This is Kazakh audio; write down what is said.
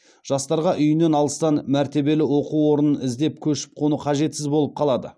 жастарға үйінен алыстан мәртебелі оқу орнын іздеп көшіп қону қажетсіз болып қалады